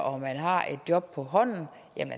og man har et job på hånden